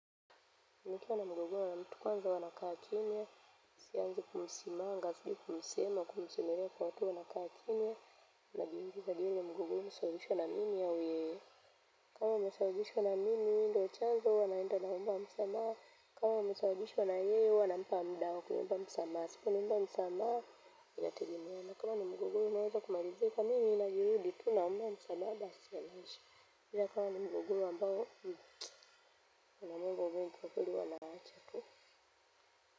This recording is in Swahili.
Nikiwa na mgogoro na mtu kwanza huwa nakaa kimya, sianzi kumsimanga, kumsemea kwa watu huwa nakaa kimya. Najuiliza je huu mgogoro umesababishwa na mimi au yeye. Kama umesababishwa na mimi, ndiyo chanzo, huwa naenda naomba msamaha. Kama umesababishwa na yeye, huwa nampa muda wa kuomba msamaha. Asiponiomba msamaha, inategemea na kama ni mgogoro unaweza kumalizika mimi na juhudi tu naomba msamaha. Kama ni mgogoro ambao, huwa naomba Mungu kwa kweli huwa nawacha.